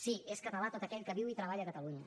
sí és català tot aquell que viu i treballa a catalunya